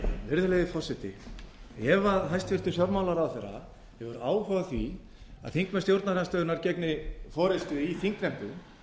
virðulegi forseti ef hæstvirtur fjármálaráðherra hefur áhuga á því að þingmenn stjórnarandstöðunnar gegni forustu í þingnefndum